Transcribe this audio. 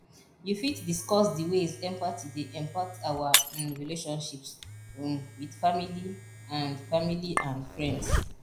you fit discuss di ways empathgy dey impact our um relationships um with family and family and friends